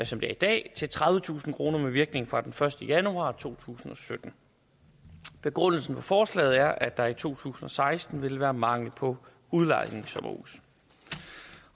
som det er i dag til tredivetusind kroner med virkning fra den første januar to tusind og sytten begrundelsen for forslaget er at der i to tusind og seksten vil være mangel på udlejningssommerhuse